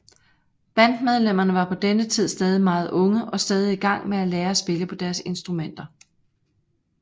Bandmedlemmerne var på denne tid stadig meget unge og stadig i gang med at lære at spille på deres instrumenter